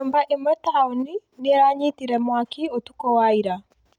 Nyũmba ĩmwe taũni nĩ ĩranyitire mwaki ũtukũ wa ira